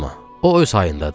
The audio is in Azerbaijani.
O öz hayındadır.